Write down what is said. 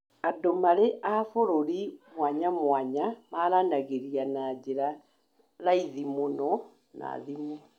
Andũ marĩ a mabũrũri mwanyamwanya maranagĩria na njĩra raithi mũno na thimu